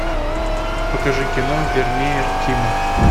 покажи кино вермеер тима